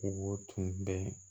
Kogo tun bɛ